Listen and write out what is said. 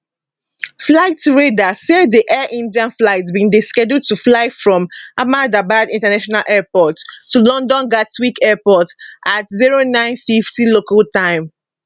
flight radar say di air india flight bin dey scheduled to fly from ahmedabad international airport to london gatwick airport at 0950 local time